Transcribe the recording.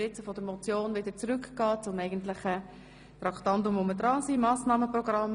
Nun kommen wir zum ursprünglichen Traktandum zurück, zum Massnahmenprogramm.